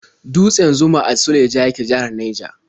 Dutse Zuma a Suleja yake, jihar Naija.